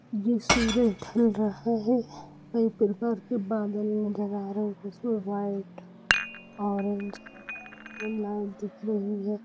ये सूरज ढल रहा है बादल नजर आ रहे है जिसमे वाइट ऑरेंज लाइन दिख रही है।